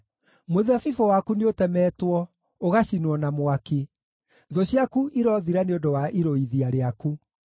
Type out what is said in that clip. Mũthabibũ waku nĩũtemetwo, ũgacinwo na mwaki; thũ ciaku irothira nĩ ũndũ wa irũithia rĩaku.